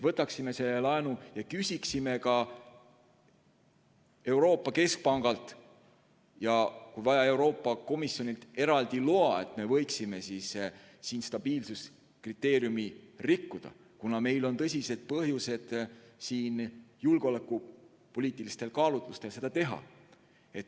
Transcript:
Võtaksime selle laenu ja küsiksime Euroopa Keskpangalt ja kui vaja, siis ka Euroopa Komisjonilt eraldi loa, et me võiksime siin stabiilsuskriteeriumi rikkuda, kuna meil on tõsised põhjused, et julgeolekupoliitilistel kaalutlustel seda teha.